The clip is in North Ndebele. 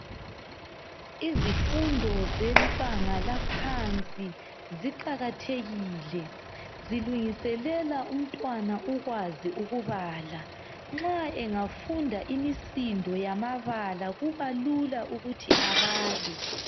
Izifundo zebanga laphansi ziqakathekile zilungiselela umntwana ukwazi ukubala, nxa engafunda imisindo yamabala kubalula ukuthi abale.